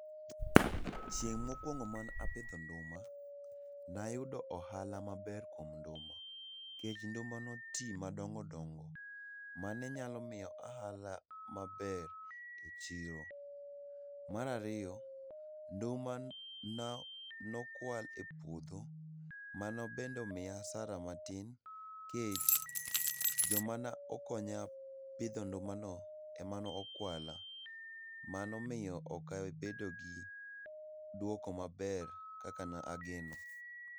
Chieng mokuongo man apidho nduma, nayudo ohala maber kuom nduma, kech nduma notii madongo dongo mane nyalo mia ohala maber echiro. Marariyo, nduma na nokwal epuodho mano bende omiya asara matin kech, jomana okonya pidho ndumano emanokwalo mano miyo okabedo gi duoko maber kakanageno.